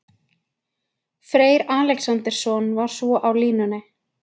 Freyr Alexandersson var svo á línunni.